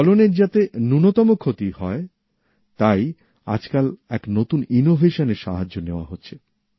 ফলনের যাতে ন্যূনতম ক্ষতি হয় তাই আজকাল এক নতুন উদ্ভাবনের সাহায্য নেওয়া হচ্ছে